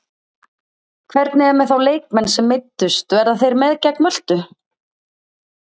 Hvernig er með þá leikmenn sem meiddust verða þeir með gegn Möltu?